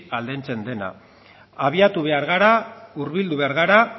aldentzen dena abiatu behar gara hurbildu behar gara